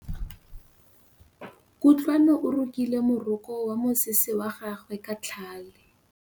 Kutlwanô o rokile morokô wa mosese wa gagwe ka tlhale.